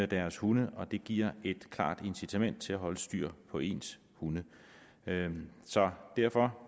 deres hunde og det giver et klart incitament til at holde styr på ens hunde så derfor